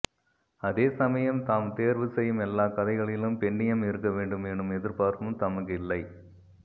அதே சமயம் தாம் தேர்வு செய்யும் எல்லாக் கதைகளிலும் பெண்ணியம் இருக்க வேண்டும் எனும் எதிர்பார்ப்பும் தமக்கு இல்லை